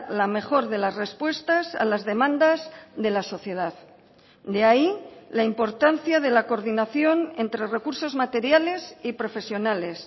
la mejor de las respuestas a las demandas de la sociedad de ahí la importancia de la coordinación entre recursos materiales y profesionales